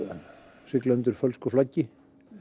að sigla undir fölsku flaggi